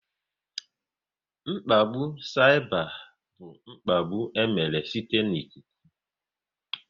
Mkpagbu saịba bụ mkpagbu e mere site n'ikuku